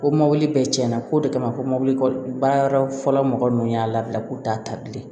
Ko mɔbili bɛɛ cɛn na ko de kama ko mɔbili baara yɔrɔ fɔlɔ mɔgɔ nunnu y'a labila k'u t'a ta bilen